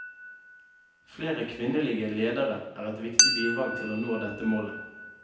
Flere kvinnelige ledere er et viktig bidrag til å nå dette målet.